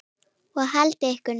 Og haldið ykkur nú.